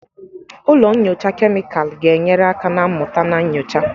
Ụlọ nyocha kemịkalụ ga-enyere aka na mmụta na nyocha.